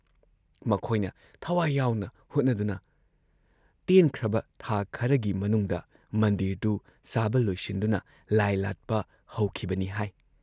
ꯃꯈꯣꯏꯅ ꯊꯋꯥꯏ ꯌꯥꯎꯅ ꯍꯣꯠꯅꯗꯨꯅ ꯇꯦꯟꯈ꯭ꯔꯕ ꯊꯥ ꯈꯔꯒꯤ ꯃꯅꯨꯡꯗ ꯃꯟꯗꯤꯔꯗꯨ ꯁꯥꯕ ꯂꯣꯏꯁꯤꯟꯗꯨꯅ ꯂꯥꯏ ꯂꯥꯠꯄ ꯍꯧꯈꯤꯕꯅꯤ ꯍꯥꯏ ꯫